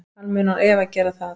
Hann mun án efa gera það.